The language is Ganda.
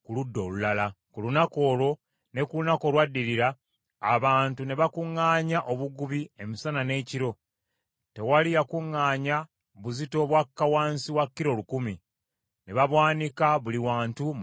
Ku lunaku olwo ne ku lunaku olwaddirira abantu ne bakuŋŋaanya obugubi emisana n’ekiro. Tewali yakuŋŋaanya buzito bwakka wansi wa kilo lukumi; ne babwanika buli wantu mu lusiisira.